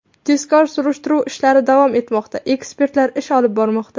Tezkor-surishtiruv ishlari davom etmoqda, ekspertlar ish olib bormoqda.